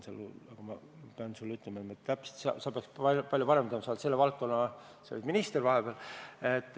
Ma pean sulle ütlema, et ma täpselt ei tea, sina peaks seda palju paremini teadma, sa olid vahepeal selle valdkonna minister.